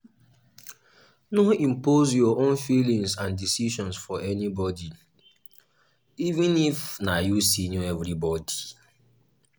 no impose your own feelings and decision for anybody even if na you senior everybody